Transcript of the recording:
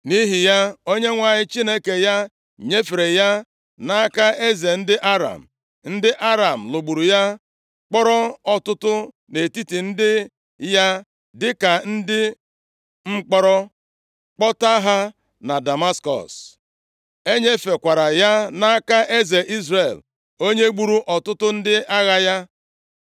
Nʼihi ya, Onyenwe anyị Chineke ya nyefere ya nʼaka eze ndị Aram. Ndị Aram lụgburu ya, kpọrọ ọtụtụ nʼetiti ndị ya dịka ndị mkpọrọ kpọta ha nʼDamaskọs. E nyefekwara ya nʼaka eze Izrel, onye gburu ọtụtụ ndị agha ya.